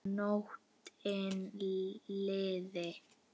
Bara að nóttin liði.